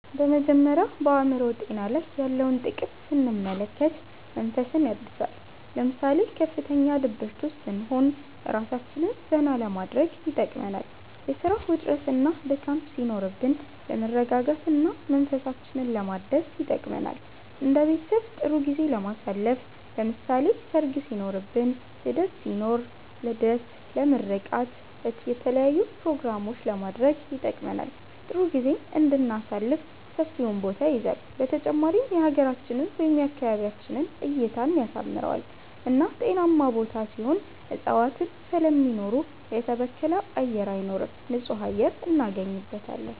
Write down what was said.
በመጀመሪያ በአእምሮ ጤና ላይ ያለውን ጥቅም ስንመለከት መንፈስን ያድሳል ለምሳሌ ከፍተኛ ድብርት ውስጥ ስንሆን እራሳችንን ዘና ለማድረግ ይጠቅመናል የስራ ውጥረትና ድካም ሲኖርብን ለመረጋጋት እና መንፈሳችንን ለማደስ ይጠቅመናል እንደ ቤተሰብ ጥሩ ጊዜ ለማሳለፍ ለምሳሌ ሰርግ ሲኖርብን ልደት ሲኖር ልደት ለምርቃት የተለያዪ ኘሮግራሞችንም ለማድረግ ይጠቅመናል ጥሩ ጊዜም እንድናሳልፍ ሰፊውን ቦታ ይይዛል በተጨማሪም የሀገራችንን ወይም የአካባቢያችንን እይታን ያሳምረዋል እና ጤናማ ቦታ ሲሆን እፅዋትን ስለሚኖሩ የተበከለ አየር አይኖርም ንፁህ አየር እናገኝበታለን